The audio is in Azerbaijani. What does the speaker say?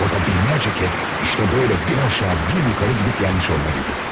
Orada minlərlə dəfə məhz belə aşağı-yuxarı hərəkət etmiş olmalı idi.